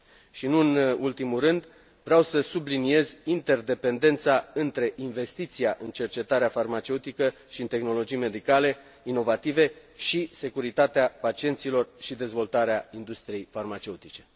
Și nu în ultimul rând, vreau să subliniez interdependența între investiția în cercetarea farmaceutică și în tehnologii medicale inovative și securitatea pacienților și dezvoltarea industriei farmaceutice.